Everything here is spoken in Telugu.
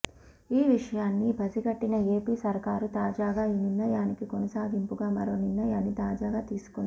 ఈ విషయాన్ని పసిగట్టిన ఏపీ సర్కారు తాజాగా ఈ నిర్ణయానికి కొనసాగింపుగా మరో నిర్ణయాన్ని తాజాగా తీసుకుంది